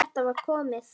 Þetta var komið gott.